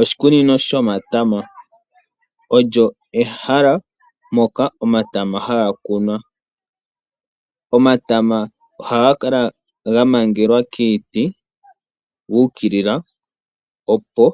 Oshikunino shotama, olyo ehala moka omatama ha ga kunwa. Omatama oha ga kala ga mangelwa kiiti yuukilila opo